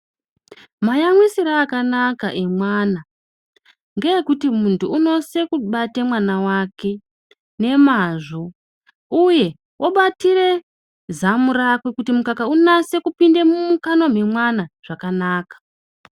Mayamwisire akanaka emwana, ngeekuti muntu unosise kubate mwana wake nemazvo uye obatire zamu rakwe kuti mukaka unase kupinde mumukanwa memwana zvakanaka.